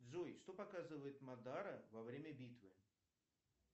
джой что показывает мадара во время битвы